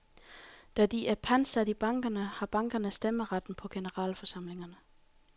Da de er pantsat i bankerne, har bankerne stemmeretten på generalforsamlingerne.